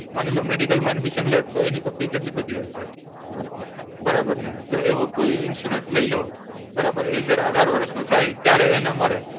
માની લો, medical માં admission લે, તો એની તો fee કેટલી બધી હોય છે. બરાબર ને? તો એવો કોઈ insurance લઈ લો, બરાબર? એ જ્યારે અઢાર વર્ષનો થાય ત્યારે એને મળે.